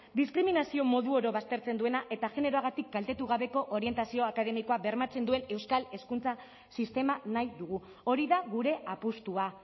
diskriminazio modu oro baztertzen duena eta generoagatik kaltetu gabeko orientazio akademikoa bermatzen duen euskal hezkuntza sistema nahi dugu hori da gure apustua